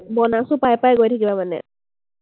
bonus ও পাই পাই গৈ থাকিব মানে।